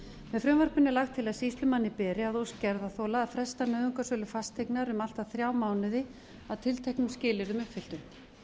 með frumvarpinu er lagt til að sýslumanni beri að ósk gerðarþola að fresta nauðungarsölu fasteignar um allt að þrjá mánuði að tilteknum skilyrðum uppfylltum